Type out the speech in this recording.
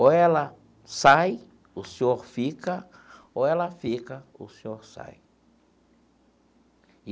Ou ela sai, o senhor fica, ou ela fica, o senhor sai.